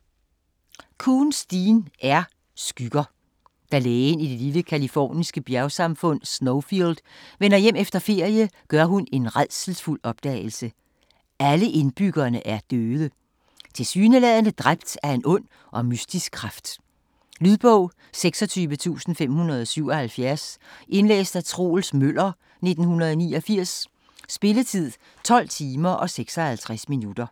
Koontz, Dean R.: Skygger Da lægen i den lille californiske bjergby Snowfield vender hjem efter ferie, gør hun en rædselsfuld opdagelse. Alle indbyggerne er døde, tilsyneladende dræbt af en ond og mystisk kraft. Lydbog 26577 Indlæst af Troels Møller, 1989. Spilletid: 12 timer, 55 minutter.